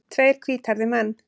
Tveir hvíthærðir menn.